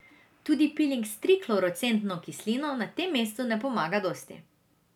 Tudi piling s triklorocetno kislino na tem predelu ne pomaga dosti.